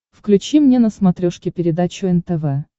включи мне на смотрешке передачу нтв